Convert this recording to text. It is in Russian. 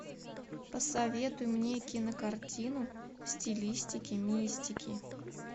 посоветуй мне кинокартину в стилистике мистики